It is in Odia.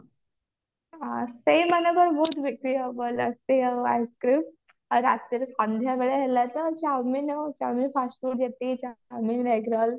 ହଁ ସେଇ ମାନଙ୍କର ବହୁତ ବିକ୍ରି ହବ ଭଲ ice-cream ରାତିରେ ସନ୍ଧ୍ଯା ବେଳେ ହେଲା ତ chowmein ଆଉ chowmein fast-food ଯେତିକି ଆଉ